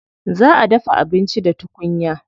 Za a dafa abinci da tukunya.